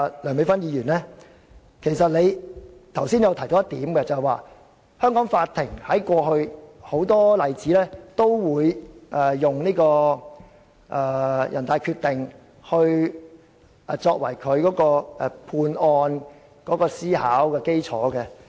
梁美芬議員剛才提到，過去香港法院很多案例也會引用人大常委會的決定作為判案的思考基礎。